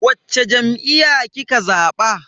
Wacce jam'iyya kika zaba?